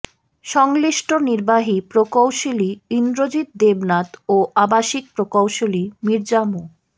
সংশ্লিষ্ট নির্বাহী প্রকৌশলী ইন্দ্রজিৎ দেবনাথ ও আবাসিক প্রকৌশলী মির্জা মো